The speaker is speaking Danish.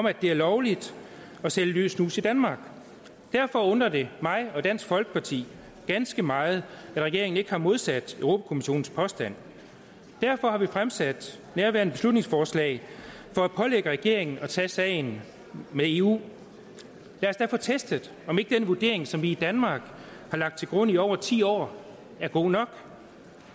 at det er lovligt at sælge løs snus i danmark derfor undrer det mig og dansk folkeparti ganske meget at regeringen ikke har modsat europa kommissionens påstand derfor har vi fremsat nærværende beslutningsforslag for at pålægge regeringen at tage sagen med eu lad os da få testet om ikke den vurdering som vi i danmark har lagt til grund i over ti år er god nok